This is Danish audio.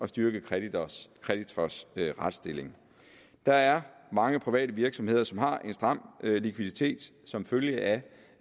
styrke kreditors kreditors retstilling der er mange private virksomheder som har en stram likviditet som følge af